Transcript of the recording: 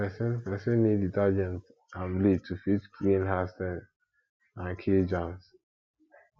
person person need detergent and bleach to fit clean hard stains and kill germs